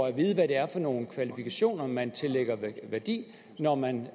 at vide hvad det er for nogle kvalifikationer man tillægger værdi når man